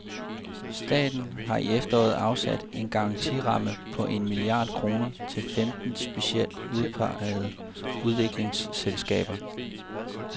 Staten har i efteråret afsat en garantiramme på en milliard kroner til femten specielt udpegede udviklingsselskaber.